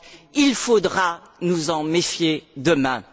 30. Il faudra nous en méfier demain.